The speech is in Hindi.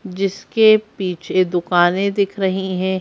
जिसके पीछे दुकाने दिख रही है।